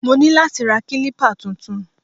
Mo ní láti ra kílípà tuntun